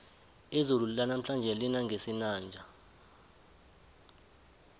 izulu lanamhlanje lina ngesinanja